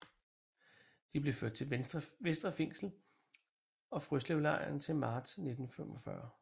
De blev ført til Vestre Fængsel og Frøslevlejren til marts 1945